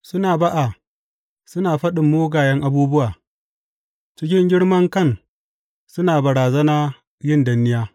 Suna ba’a, suna faɗin mugayen abubuwa; cikin girman kan suna barazana yin danniya.